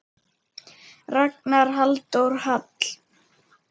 Ragnar Halldór Hall.